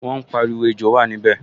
Wọ́n pariwo, 'Ejò wà níbẹ̀'